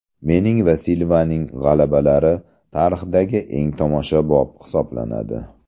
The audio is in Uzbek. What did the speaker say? Mening va Silvaning g‘alabalari tarixdagi eng tomoshabob hisoblanadi.